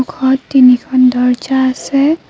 ঘৰত তিনিখন দৰ্জ্জা আছে।